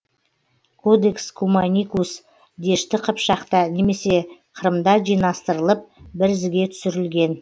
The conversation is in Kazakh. кодекс куманикус дешті қыпшақта немесе қырымда жинастырылып бір ізге түсірілген